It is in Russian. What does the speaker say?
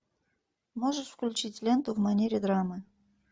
можешь включить ленту в манере драмы